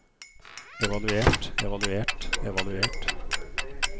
evaluert evaluert evaluert